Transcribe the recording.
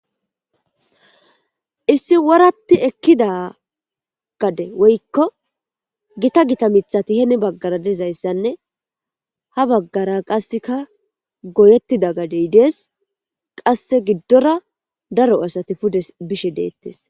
Issi woratti ekkida gade woykko gita gita mithati heni baggara dizayssanne ha baggara qasseka goyettida gadey dees qasse giddora daro asati pude bishe deettes.